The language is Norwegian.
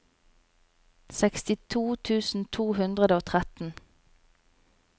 sekstito tusen to hundre og tretten